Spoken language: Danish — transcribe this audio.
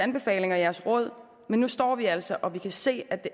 anbefalinger og jeres råd men nu står vi altså og kan se at det